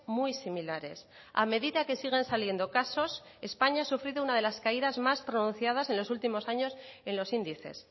muy similares a medida que siguen saliendo casos españa ha sufrido una de las caídas más pronunciadas en los últimos años en los índices